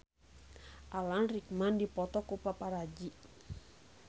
Alan Rickman dipoto ku paparazi